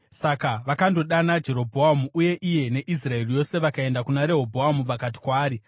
Saka vakandodana Jerobhoamu, uye iye neIsraeri yose vakaenda kuna Rehobhoamu vakati kwaari,